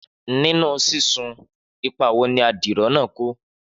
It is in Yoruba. Nínú sísun, ipa wo ni adiro náà kó?